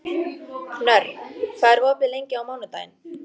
Knörr, hvað er opið lengi á mánudaginn?